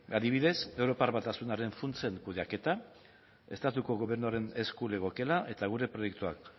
adibidez europar batasunaren funtsen kudeaketa estatuko gobernuaren esku legokeela eta gure proiektuak